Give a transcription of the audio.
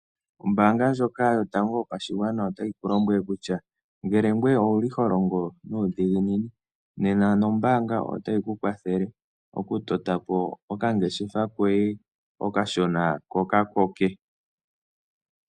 Ombaanga ndjoka yotangoa yopashigwana otayi oku lombwele kutya ngele ngoye owuli ho longo nuudhiginini nena nombaanga otayi ku kwatheel okutota po okangeshefa koye okashona, otayi ku lombwele kutya ngele ngoye owuli ho longo nuudhiginini nena nombaanga otayi ku kwathele okutota po okangeshefa koye okashona ko kakoke.